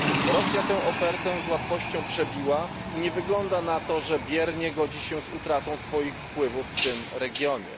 Rosja tę ofertę z łatwością przebiła i nie wygląda na to, że biernie godzi się z utratą swoich wpływów w tym regionie.